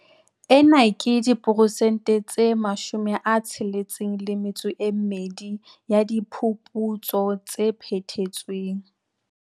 Ena ke diperesente tse 62 ya diphuputso tse phethetsweng.